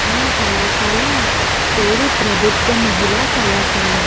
ఆ కళాశాల పేరు ప్రభుత్వ మహిళా కళాశాల.